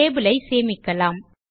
table ஐ சேமிக்கலாம்